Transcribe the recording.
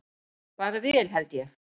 Bara vel held ég.